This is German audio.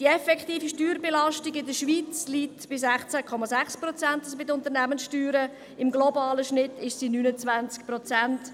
Die effektive Steuerbelastung in der Schweiz liegt bei den Unternehmenssteuern in der Schweiz bei 16,6 Prozent, im globalen Schnitt beträgt sie 29 Prozent.